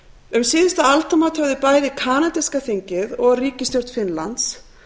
um síðustu aldamót höfðu bæði kanadíska þingið og ríkisstjórn finnlands